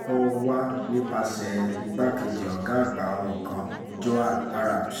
kó wá nípasẹ̀ igbákejì ọ̀gá àgbà wọn kan joan arabs